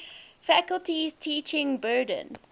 faculty's teaching burden